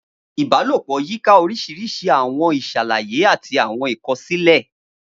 Ibalopo yika orisirisi àwọn iṣalaye ati àwọn ikosile.